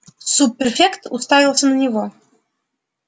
суб-префект уставился на него